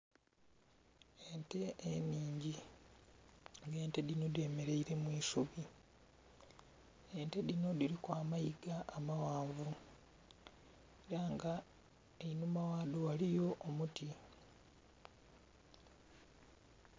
Ente ennhingi. Ente dhino dhemeleile mu isubi. Ente dhino dhiliku amayiga amaghanvu. Ela nga einhuma ghado ghaliyo omuti.